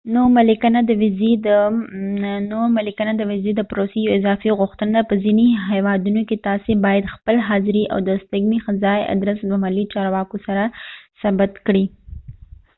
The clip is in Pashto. نوملیکنه د ويزی د پروسی یو اضافی غوښتنه ده په ځینی هیوادونو کې تاسی باید خپله حاضری او د استګنی ځّای ادرس د محلي چارواکو سره ثبت کړي